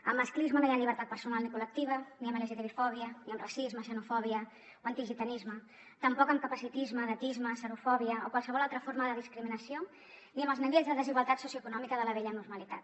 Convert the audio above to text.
amb masclisme no hi ha llibertat personal ni col·lectiva ni amb lgtbifòbia ni amb racisme xenofòbia o antigitanisme tampoc amb capacitisme edatisme serofòbia o qualsevol altra forma de discriminació ni amb els nivells de desigualtat socioeconòmica de la vella normalitat